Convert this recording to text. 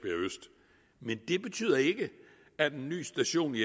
men det betyder ikke at en ny station i